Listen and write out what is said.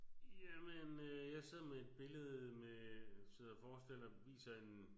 Ja men øh jeg sidder med et billede med sidder og forestiller viser en